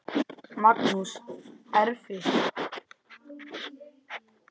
Magnús: Erfitt?